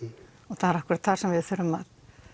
það er akkurat þar sem við þurfum að